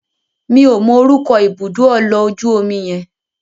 Mi ò mọ orúkọ ibùdó ọlọ̀ ojú omi yẹn.